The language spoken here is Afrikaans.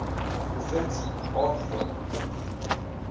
provinsie aanvra indien